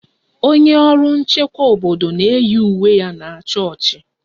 Onye ọrụ nchekwa obodo na-eyi uwe ya na chọọchị